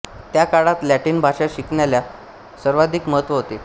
त्या काळात लॅटिन भाषा शिकण्याला सर्वाधिक महत्त्व होते